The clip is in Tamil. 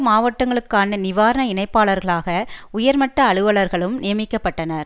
மாவட்டங்களுக்குமான நிவாரண இணைப்பாளர்களாக உயர்மட்ட அலுவலர்களும் நியமக்கப்பட்டனர்